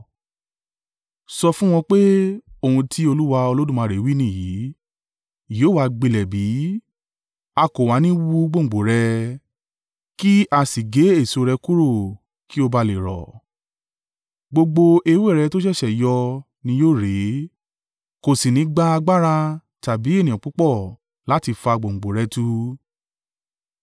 “Sọ fún wọn pé, ‘Ohun tí Olúwa Olódùmarè wí nìyí, yóò wá gbilẹ̀ bí? A kò wá ní i wú gbòǹgbò rẹ̀, ki a si gé èso rẹ̀ kúrò kí ó bá à le rọ? Gbogbo ewé rẹ̀ tó ṣẹ̀ṣẹ̀ yọ ni yóò rẹ̀. Kò sì nígbà agbára tàbí ènìyàn púpọ̀ láti fà gbòǹgbò rẹ̀ tu.